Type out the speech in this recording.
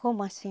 Como assim?